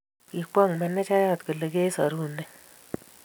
kikwong menejayat kole kiseru nee